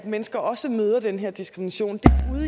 mennesker også møder den her diskrimination